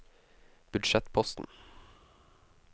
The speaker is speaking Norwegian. budsjettposten